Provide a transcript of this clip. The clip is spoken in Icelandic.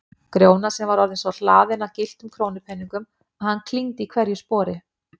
Grjóna sem var orðinn svo hlaðinn af gylltum krónupeningum að hann klingdi í hverju spori.